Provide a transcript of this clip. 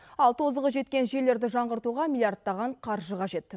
ал тозығы жеткен желілерді жаңғыртуға миллиардтаған қаржы қажет